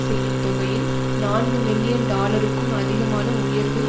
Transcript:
செய்யும் தொகையில் நான்கு மில்லியன் டாலருக்கும் அதிகமான உயர்வு